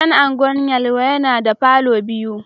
Gidan Gwan Yelwa yana da palour biyu